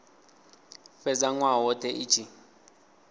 fhedza nwaha wothe i tshi